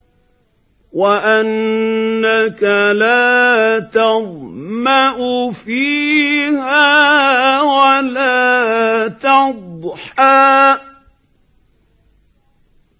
وَأَنَّكَ لَا تَظْمَأُ فِيهَا وَلَا تَضْحَىٰ